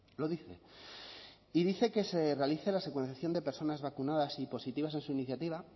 lo dice y dice que se realice la secuenciación de personas vacunadas y positivas en su iniciativa